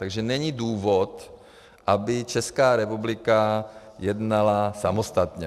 Takže není důvod, aby Česká republika jednala samostatně.